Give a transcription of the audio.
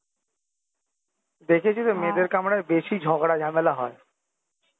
দেখেছি তো মেয়েদের কামরায় বেশি ঝগড়া ঝামেলা হয়